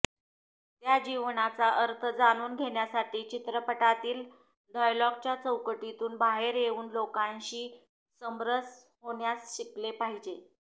त्या जीवनाचा अर्थ जाणून घेण्यासाठी चित्रपटातील डायलॉगच्या चौकटीतून बाहेर येऊन लोकांशी समरस होण्यास शिकले पाहिजे